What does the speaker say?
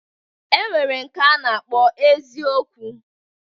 E nwere nke a na-akpọ eziokwu.